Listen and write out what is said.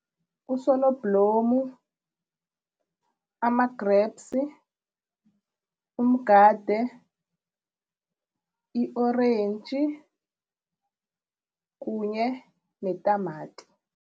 Usonoblomu, ama-grapes, umgade, i-orange kunye netamati.